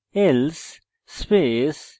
else